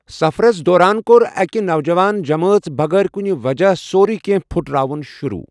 سَفرَس دوران کوٚر أکہ، نوجوان جمٲژ بغٲر کُنہِ وجہ سورُیہ کہنٛہہ پھٹراوُن شروٗع۔